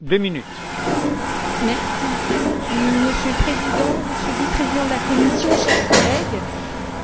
Monsieur le Président, Monsieur le Vice président de la Commission, chers collègues,